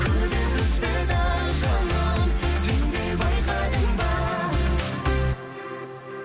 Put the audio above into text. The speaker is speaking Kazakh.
күдер үзбейді жаным сен де байқадың ба